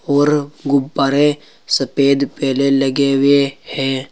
और गुब्बारे सफेद पहले लगे हुए है।